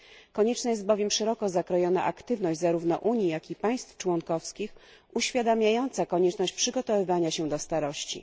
Konieczna jest bowiem szeroko zakrojona aktywność zarówno Unii, jak i państw członkowskich, uświadamiająca konieczność przygotowywania się do starości.